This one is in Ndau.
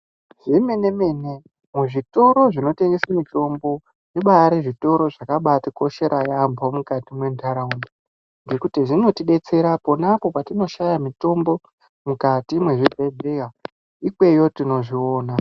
Zvemene-mene zvitoro zvinotengeswe mitombo zvibaari zvitoro zvakabaatikoshera yaambo mukati mwentaraunda ngekuti zvinotidetsera ponapo patinoshaya mukati mwezvibhehleya, ikweyo tinozviona.